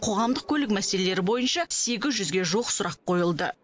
қоғамдық көлік мәселелері бойынша сегіз жүзге жуық сұрақ қойылды